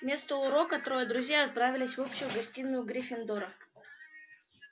вместо урока трое друзей отправились в общую гостиную гриффиндора